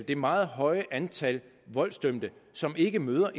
det meget høje antal voldsdømte som ikke møder